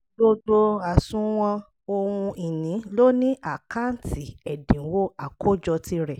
gbogbo asuwọn ohun ìní lo ní àkáǹtì ẹ̀dínwó àkójọ tirẹ̀